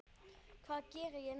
Hvað geri ég næst?